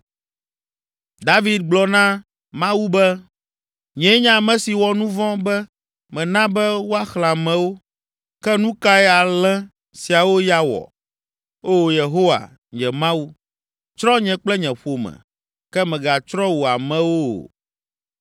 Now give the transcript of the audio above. David gblɔ na Mawu be, “Nyee nye ame si wɔ nu vɔ̃ be mena be woaxlẽ amewo. Ke nu kae alẽ siawo ya wɔ? Oo, Yehowa, nye Mawu, tsrɔ̃ nye kple nye ƒome, ke mègatsrɔ̃ wò amewo o.”